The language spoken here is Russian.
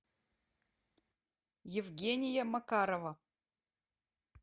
евгения макарова